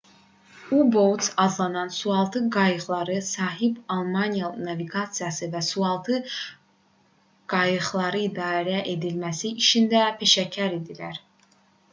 u-boats adlanan sualtı qayıqlara sahib almanlar naviqasiya və sualtı qayıqların idarə edilməsi işində peşəkar idilər